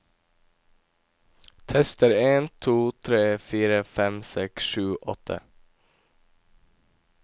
Tester en to tre fire fem seks sju åtte